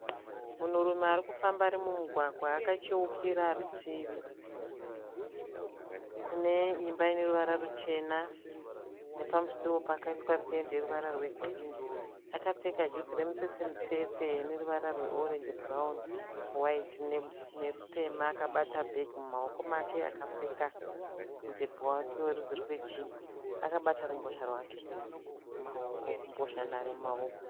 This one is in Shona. Munhurume arikufamba ari mumugwagwa akacheukira rutivi kune imba ine ruvara ruchena nepamusiwo pakaiswa pendi yeruvara rwe girinhi . Akapfeka juzi remutsetse mutsetse rine ruvara rwe orenji, bhurauni, waiti nerutema. Akabata bhegi mumaoko make akapfeka mudhebhe wake werudzi rwe jinhi, akabata rumbozha nhare mumaoko. .